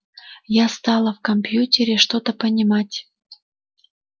я стала в компьютере что-то понимать